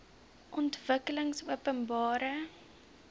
ontwikkelingopenbare